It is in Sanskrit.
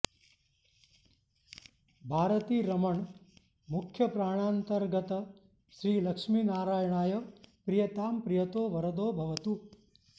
भारतीरमण मुख्यप्राणान्तर्गत श्री लक्ष्मी नारायणाय प्रीयतां प्रीयतो वरदो भवतु